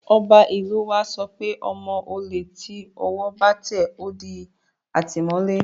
Ọba ìlú u wa sọ pé ọmọ olè tí ọwọ́ bá tẹ̀, ó di àtìmọ́lé